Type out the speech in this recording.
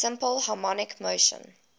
simple harmonic motion